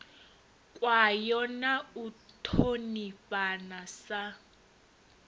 kwayo na u ṱhonifhana sa